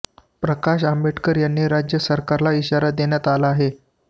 प्रकाश आंबेडकर यांनी राज्य सरकारला इशारा देण्यात आला आहे